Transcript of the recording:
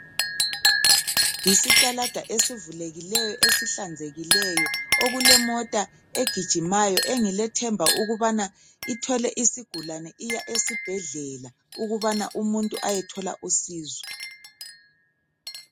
Yisitalada esivulekileyo esihlanzekileyo okulemota egijimayo engilethemba lokubana ithwele isigulane iya esibhedlela, ukubana umuntu ayethola usizo.